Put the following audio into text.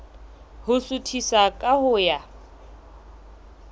ho suthisa ka ho ya